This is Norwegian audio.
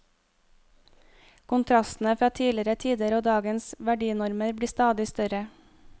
Kontrastene fra tidligere tider og dagens verdinormer blir stadig større.